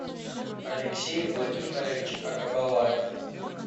алексей владимирович агабалаев